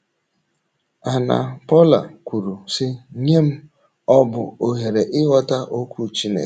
Anna - Paula kwuru, sị: “ Nye m, ọ bụ ohere ịghọta Okwu Chineke.